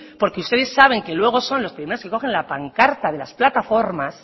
porque ustedes saben que luego son los que no se cogen la pancarta de las plataformas